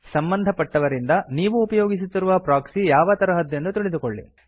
ಸಂಬಂಧಪಟ್ಟವರಿಂದ ನೀವು ಉಪಯೋಗಿಸುತ್ತಿರುವ ಪ್ರೊಕ್ಸಿ ಯಾವ ತರಹದ್ದೆಂದು ತಿಳಿದುಕೊಳ್ಳಿ